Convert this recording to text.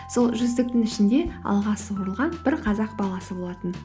сол жүздіктің ішінде алға суырылған бір қазақ баласы болатын